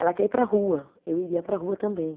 Ela quer ir para a rua, eu iria para a rua também.